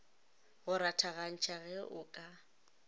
go rathagantšha ge o ka